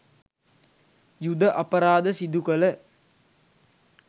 යුධ අපරාධ සිදුකළ